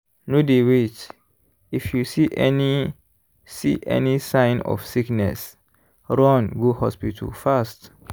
no dey wait-if you see any see any sign of sickness run go hospital fast!